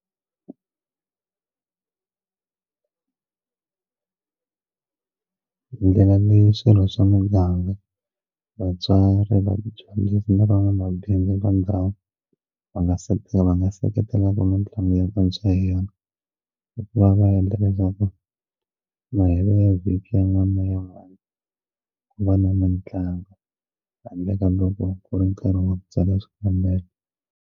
Ndlela swilo swa muganga vatswari vadyondzisi ni van'wamabindzu va ndhawu va nga se va nga seketelaka mitlangu ya vantshwa hi yona hikuva va endla leswaku mahelo ya vhiki ya n'wana ya n'wana ku va na mitlangu handle ka loko ku ri nkarhi wa ku tsala xikambelo.